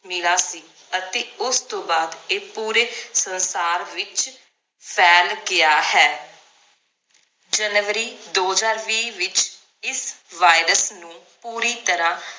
ਮਿਲਾ ਸੀ ਅਤੇ ਉਸ ਤੋਂ ਬਾਅਦ ਇਹ ਪੂਰੇ ਸੰਸਾਰ ਵਿਚ ਫੈਲ ਗਿਆ ਹੈ ਜਨਵਰੀ ਦੋ ਹਜਾਰ ਵੀ ਵਿਚ ਇਸ virus ਨੂੰ ਪੂਰੀ ਤਰਾਹ